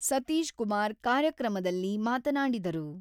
ಸತೀಶ್ ಕುಮಾರ್ ಕಾರ್ಯಕ್ರಮದಲ್ಲಿ ಮಾತನಾಡಿದರು.